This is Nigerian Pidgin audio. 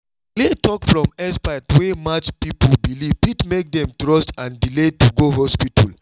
clear talk from expert wey match people belief fit make dem trust and delay to go hospital.